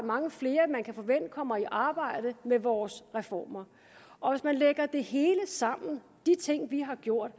mange flere man kan forvente at der kommer i arbejde med vores reformer og hvis man lægger det hele sammen de ting vi har gjort